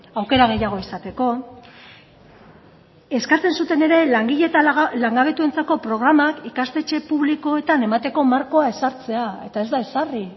aukera gehiago izateko eskatzen zuten ere langile eta langabetuentzako programak ikastetxe publikoetan emateko markoa ezartzea eta ez da ezarri